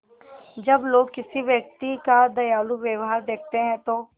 जब लोग किसी व्यक्ति का दयालु व्यवहार देखते हैं तो